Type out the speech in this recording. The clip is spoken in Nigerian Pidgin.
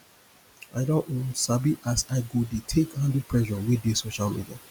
i don um sabi as i go dey take handle pressure wey dey social media